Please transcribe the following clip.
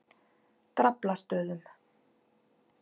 Draflastöðum